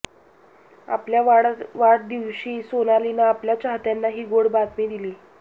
आपल्या वाढदिवशी सोनालीनं आपल्या चाहत्यांना ही गोड बातमी दिली